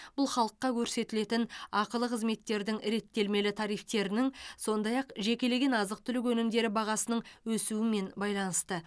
бұл халыққа көрсетілетін ақылы қызметтердің реттелмелі тарифтерінің сондай ақ жекелеген азық түлік өнімдері бағасының өсуімен байланысты